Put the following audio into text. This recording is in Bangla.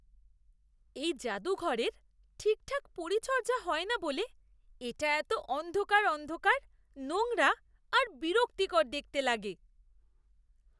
এই জাদুঘরের ঠিকঠাক পরিচর্যা হয় না বলে এটা এতো অন্ধকার অন্ধকার, নোংরা আর বিরক্তিকর দেখতে লাগে।